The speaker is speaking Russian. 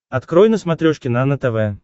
открой на смотрешке нано тв